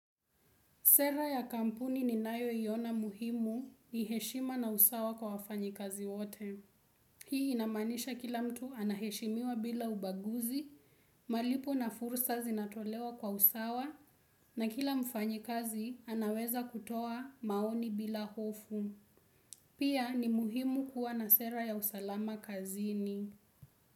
Sera ya kampuni ni nayoyo iona muhimu ni heshima na usawa kwa wafanyi kazi wote. Hii inamanisha kila mtu anaheshimiwa bila ubaguzi, malipo na fursa zinatolewa kwa usawa na kila mfanyi kazi anaweza kutoa maoni bila hofu. Pia ni muhimu kuwa na sera ya usalama kazini.